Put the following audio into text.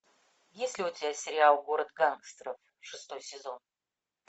есть ли у тебя сериал город гангстеров шестой сезон